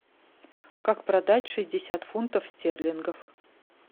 как продать шестьдесят фунтов стерлингов